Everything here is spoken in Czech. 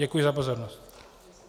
Děkuji za pozornost.